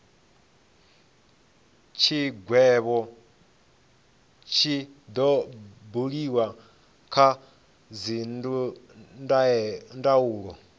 tshigwevho tshi do buliwa kha dzindaulo